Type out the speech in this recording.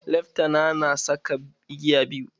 Leftana na saka igiya biyu.